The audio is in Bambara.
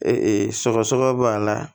sɔgɔsɔgɔ b'a la